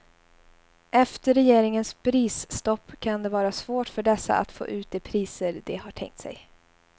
Efter regeringens prisstopp kan det vara svårt för dessa att få ut de priser de har tänkt sig.